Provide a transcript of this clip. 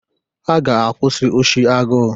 Ha ga-akwụsị oshi agụụ